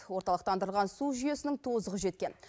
орталықтандырылған су жүйесінің тозығы жеткен